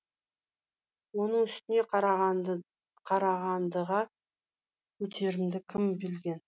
оның үстіне қарағандыға кетерімді кім білген